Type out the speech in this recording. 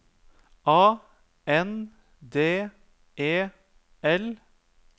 A N D E L